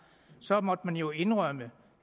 så måtte man jo indrømme